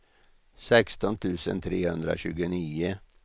sexton tusen trehundratjugonio